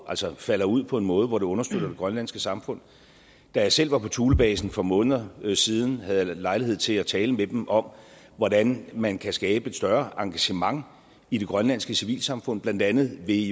falder ud på en måde hvor det understøtter det grønlandske samfund da jeg selv var på thulebasen for nogle måneder siden havde jeg lejlighed til at tale med dem om hvordan man kan skabe et større engagement i det grønlandske civilsamfund blandt andet ved